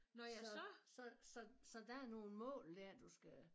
Så så så så der er nogle mål dér du skal